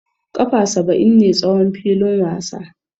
Kafa saba'in ne tsawon filin wasa.